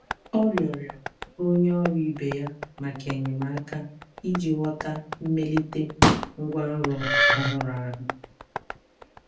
Ọ rịọrọ onye ọrụ ibe ya maka enyemaka iji ghọta mmelite ngwanrọ ọhụrụ ahụ.